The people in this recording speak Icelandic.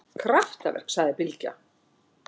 Kraftaverk, sagði Bylgja.